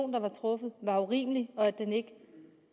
der var truffet var urimelig og at den ikke